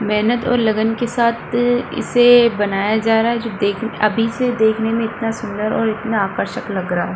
मेहनत और लगन के साथ इसे बनाया जा रहा है जो दे अभी से देखने में इतना सुंदर और इतना आकर्षक लग रहा है।